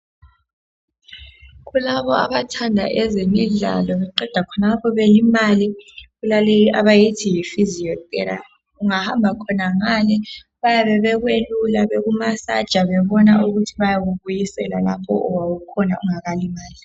kulabo abathanda ezemidlalo beqeda khonapho belimale kulaleyi abayithi yi physiotherapy. Ungahamba khonangale bayabe bekwelula bekumasaja bebona ukuthi bakubisela lapho owawukhona ungakalimali.